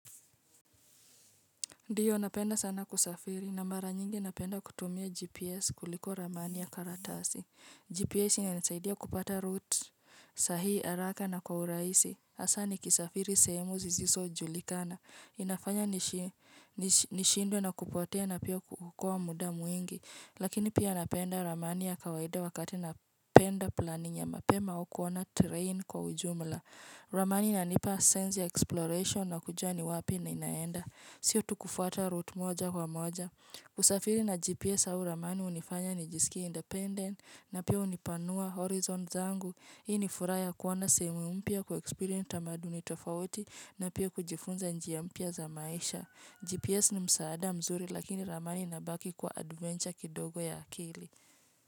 Ndiyo, napenda sana kusafiri na mara nyingi napenda kutumia GPS kuliko Ramani ya karatasi. GPS, inanisaidia kupata route sahihi araka na kwa urahisi. Hasa nikisafiri sehemu zizisojulikana. Inafanya nishi nish nishidwe na kupotea na pia kuokoa muda mwingi. Lakini pia, napenda Ramani ya kawaida wakati napenda planning ya mapema au kuona train kwa ujumla. Ramani inanipa sense ya exploration, nakujua ni wapi ninaenda. Sio tu kufuata route moja kwa moja. Kusafiri na GPS au Ramani hunifanya nijisikie independent na pia hunipanua horizon zangu. Hii ni furaha ya kuona sehemu mpya kuexprience tamaduni tofauti na pia kujifunza njia mpya za maisha. GPS ni msaada mzuri lakini Ramani inabaki kuwa adventure kidogo ya akili.